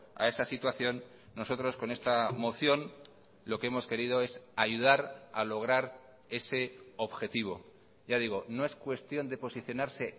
a esa situación nosotros con esta moción lo que hemos querido es ayudar a lograr ese objetivo ya digo no es cuestión de posicionarse